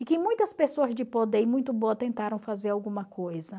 E que muitas pessoas de poder e muito boa tentaram fazer alguma coisa.